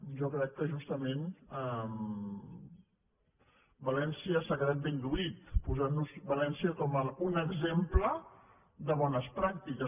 jo crec que justament s’ha quedat ben lluït posant nos valència com un exemple de bones pràctiques